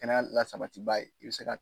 Kɛnɛya la sabatiba ye i bɛ se ka.